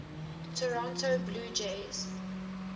toronto blue jays